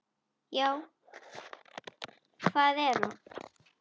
Já, hvað er nú?